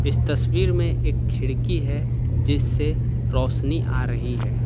इस तस्वीर में एक खिड़की है जिस से रोशनी आ रही है।